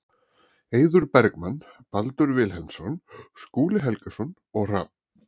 Eiður Bergmann, Baldur Vilhelmsson, Skúli Helgason og Hrafn